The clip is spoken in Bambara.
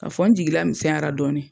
Ka fɔ n jigi lamisɛnyara dɔɔni.